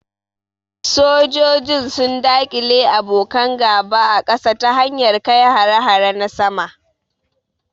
Sojojin sun daƙile abokan gaba a kasa ta hanyar kai hare-hare na sama.